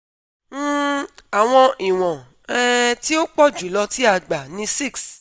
um Awọn iwọn um ti o pọ julọ ti a gba ni six